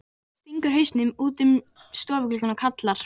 Mamma stingur hausnum út um stofugluggann og kallar.